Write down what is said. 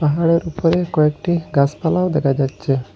পাহাড়ের উপরের কয়েকটি গাসপালাও দেকা যাচ্চে ।